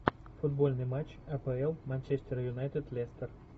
футбольный матч апл манчестер юнайтед лестер